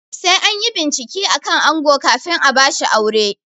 Sai anyi bincike akan ango kafin a bashi aure